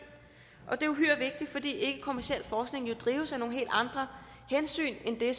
og det er uhyre vigtigt fordi den ikkekommercielle forskning jo drives af nogle helt andre hensyn end det